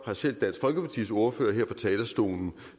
har selv dansk folkepartis ordfører her på talerstolen